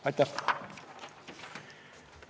Aitäh!